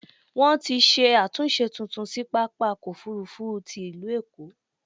Wọ́n ti ṣe àtúnṣe tuntun sí pápákọ̀-òfurufú ti il̀ú Èkó.